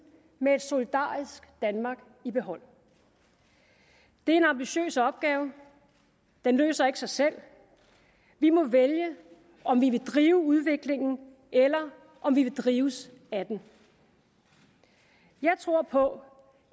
med et solidarisk danmark i behold det er en ambitiøs opgave den løser ikke sig selv vi må vælge om vi vil drive udviklingen eller om vi vil drives af den jeg tror på